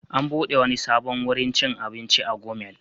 An buɗe wani sabon wurin cin abinci a Gumel.